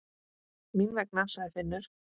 Mín vegna, sagði Finnur.